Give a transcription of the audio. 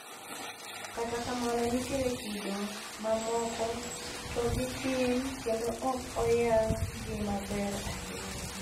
Kata kamno nitiere kido ma moko to gi tin kendo ok oyang' gi maber ahinya.